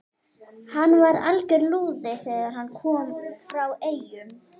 Hann var alger lúði þegar hann kom frá Eyjum.